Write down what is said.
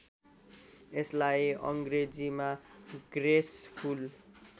यसलाई अङ्ग्रेजीमा ग्रेसफुल